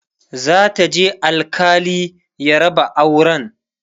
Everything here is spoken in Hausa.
za ta je alkali ya raba auran